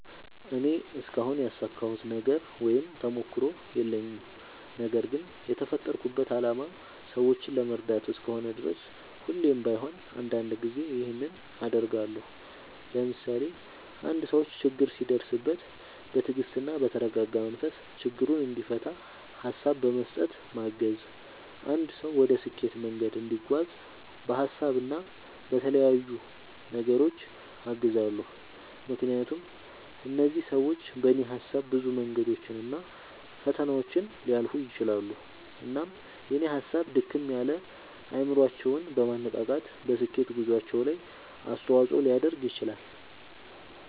እኔ እስካሁን ያሳካሁት ነገር ወይም ተሞክሮ የለኝም። ነገርግን የተፈጠርኩበት አላማ ሰዎችን ለመርዳት እስከሆነ ድረስ ሁሌም ባይሆን አንዳንድ ጊዜ ይኸንን አደርጋለሁ። ለምሳሌ፦ አንድ ሰው ችግር ሲደርስበት በትግስትና በተረጋጋ መንፈስ ችግሩን እንዲፈታ ሀሳብ በመስጠት ማገዝ፣ አንድ ሰው ወደ ስኬት መንገድ እንዲጓዝ በሀሳብ እና በተለያዩ ነገሮች አግዛለሁ። ምክንያቱም እነዚህ ሰዎች በኔ ሀሳብ ብዙ መንገዶችን እና ፈተናዎችን ሊያልፉ ይችላሉ። እናም የኔ ሀሳብ ድክም ያለ አይምሮአቸውን በማነቃቃት በስኬት ጉዞአቸው ላይ አስተዋጽኦ ሊያደርግ ይችላል።